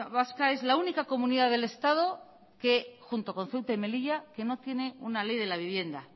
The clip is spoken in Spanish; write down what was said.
vasca es la única comunidad del estado que junto con ceuta y melilla no tiene una ley de la vivienda